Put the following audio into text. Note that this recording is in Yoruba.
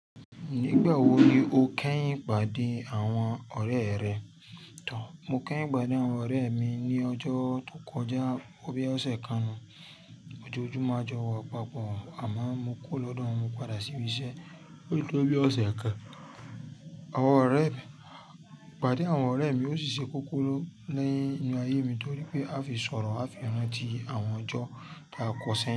Nígbà wo ni o kẹ́yìn pàdé àwọn ọ̀rẹ́ rẹ? Mo kẹ́yìn pàdé àwọn ọ̀rẹ́ mi ní ọjọ́ tó kọjá. Bí ọ̀sẹ̀ kan nú. Ojoojúmọ́ a jọ wa pápọ̀, àmọ́ mo kuró lọ́dọ̀ wọn, mo padà sí ibi iṣẹ́. Ó tó bí ọ̀sẹ̀ kan. Àwọn ọ̀rẹ́ mi, ìpàdé àwọn ọ̀rẹ́ mi ó ṣiṣẹ́ kọ́kọ́rọ́ ninu ayé mi torí pé a fi sọ̀rọ̀, a fi ranti àwọn ọjọ́ ta ko sẹ́yìn.